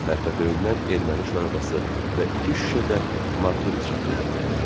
Pərpətöyündən erməni şorabası və iki şüşə də martuni çaxırı gətirdi.